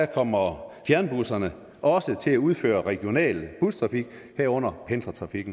kommer fjernbusserne også til at udføre regional bustrafik herunder pendlertrafik